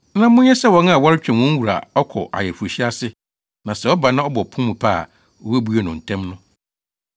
na monyɛ sɛ wɔn a wɔretwɛn wɔn wura a ɔkɔ ayeforohyia ase na sɛ ɔba na ɔbɔ pon mu pɛ a, wobebue no ntɛm no.